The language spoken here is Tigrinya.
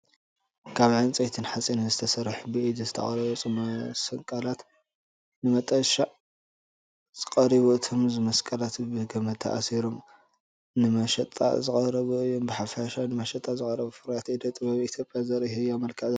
ካብ ዕንጨይትን ሓጺንን ዝተሰርሑ ብኢድ ዝተቐርጹ መስቀላት ንመሸጣ ቐሪቡ። እቶም መስቀላት ብገመድ ተኣሲሮም ንመሸጣ ዝቐረቡ እዮም። ብሓፈሻ ንመሸጣ ዝቐረቡ ፍርያት ኢደ ጥበብ ኢትዮጵያ ዘርኢ ህያው መልክዕ ኣለዎ።